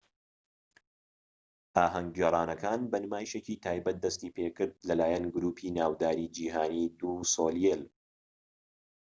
ئاھەنگ گێڕانەکان بە نمایشێکی تایبەت دەستی پێکرد لە لایەن گروپی ناوداری جیهانی دو سۆلێیل